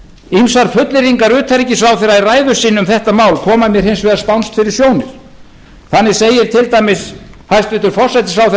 ýmsar fullyrðingar utanríkisráðherra í ræðu sinni um þetta mál koma mér hins vegar spánskt fyrir sjónir þannig segir til dæmis hæstvirtur forsætisráðherra